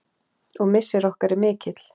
Og missir okkar er mikill.